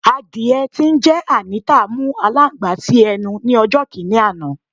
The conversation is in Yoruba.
Àdiẹ tí ńjé Anita mú alańgbà si ẹnu ni ọjò̩ kini àná